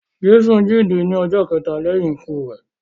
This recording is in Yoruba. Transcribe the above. Jésù jíǹde ní ọjọ́ kẹta lẹ́yìn ikú rẹ.